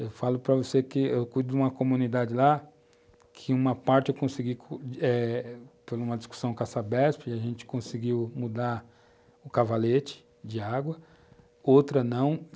Eu falo para você que eu cuido de uma comunidade lá, que uma parte eu consegui, por uma discussão com a Sabesp, e a gente conseguiu mudar o cavalete de água, outra não.